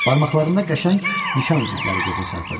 Barmaqlarında qəşəng nişan üzükləri gözə çarpırdı.